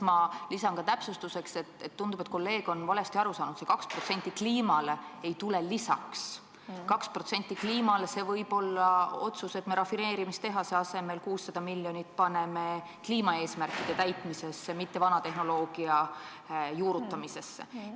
Ma lisan ka täpsustuseks, et tundub, et kolleeg on valesti aru saanud, see 2% kliimale ei tule lisaks, 2% kliimale võib olla otsus, et me rafineerimistehase asemel paneme 600 miljonit kliimaeesmärkide täitmisesse, mitte vana tehnoloogia juurutamisesse.